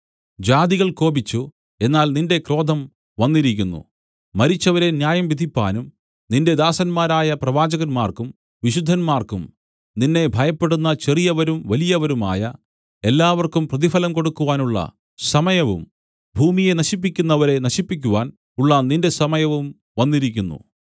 ജാതികൾ കോപിച്ചു എന്നാൽ നിന്റെ ക്രോധം വന്നിരിക്കുന്നു മരിച്ചവരെ ന്യായം വിധിപ്പാനും നിന്റെ ദാസന്മാരായ പ്രവാചകന്മാർക്കും വിശുദ്ധന്മാർക്കും നിന്നെ ഭയപ്പെടുന്ന ചെറിയവരും വലിയവരുമായ എല്ലാവർക്കും പ്രതിഫലം കൊടുക്കുവാനുള്ള സമയവും ഭൂമിയെ നശിപ്പിക്കുന്നവരെ നശിപ്പിക്കുവാൻ ഉള്ള നിന്റെ സമയവും വന്നിരിക്കുന്നു